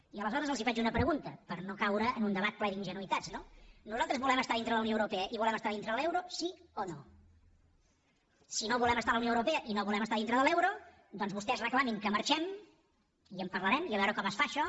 i aleshores els faig una pregunta per no caure en un debat ple d’ingenuïtats no nosaltres volem estar dintre la unió europea i volem estar dintre de l’euro sí o no si no volem estar a la unió europea i no volem estar dintre de l’euro doncs vostès reclamin que marxem i en parlarem i a veure com es fa això